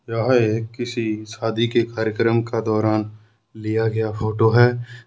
यह एक किसी शादी के कार्यक्रम का दौरान लिया गया फोटो है।